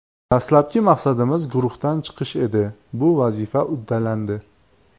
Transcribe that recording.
Dastlabki maqsadimiz guruhdan chiqish edi, bu vazifa uddalandi.